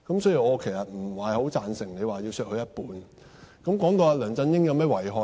所以，我其實不太贊成你要求削減他一半的薪金。